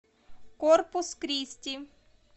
корпус кристи